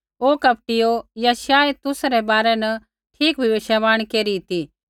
ओ कपटियो यशायाह तुसा रै बारै न ठीक भविष्यवाणी केरी ती कि